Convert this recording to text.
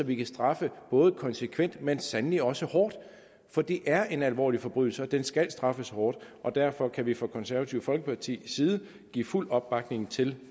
vi kan straffe konsekvent men sandelig også hårdt for det er en alvorlig forbrydelse og den skal straffes hårdt derfor kan vi fra det konservative folkepartis side give fuld opbakning til